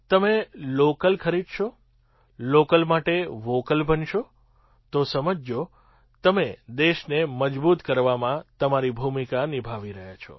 તમે લૉકલ ખરીદશો લૉકલ માટે વૉકલ બનશો તો સમજજો તમે દેશને મજબૂત કરવામાં તમારી ભૂમિકા નિભાવી રહ્યા છો